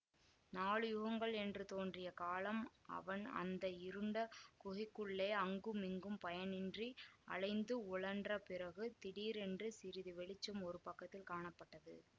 நாலு யுகங்கள் என்று தோன்றிய காலம் அவன் அந்த இருண்ட குகைக்குள்ளே அங்குமிங்கும் பயனின்றி அலைந்து உழன்ற பிறகு திடீரென்று சிறிது வெளிச்சம் ஒரு பக்கத்தில் காணப்பட்டது